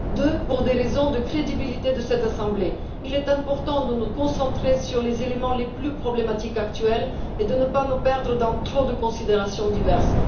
Ensuite, aux fins de la crédibilité de cette assemblée, il est important de nous concentrer sur les éléments les plus problématiques actuellement et de ne pas nous perdre dans trop de considérations diverses.